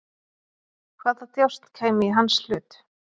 Hvaða djásn kæmi í hans hlut?